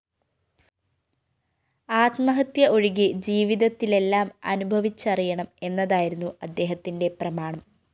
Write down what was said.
ആത്മഹത്യ ഒഴികെ ജീവിതത്തിലെല്ലാം അനുഭവിച്ചറിയണം എന്നതായിരുന്നു അദ്ദേഹത്തിന്റെ പ്രമാണം